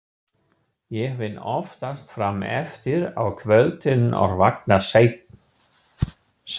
Ég vinn oftast fram eftir á kvöldin og vakna seint.